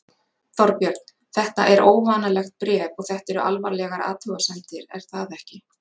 Þorbjörn, þetta er óvanalegt bréf og þetta eru alvarlegar athugasemdir er það ekki?